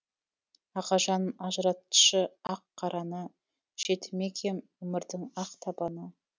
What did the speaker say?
ағажан ажыратшы ақ қараны жетімек ем өмірдің ақ табаны